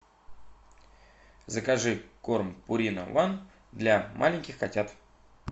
закажи корм пурина ван для маленьких котят